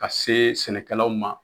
Ka see sɛnɛkɛlaw ma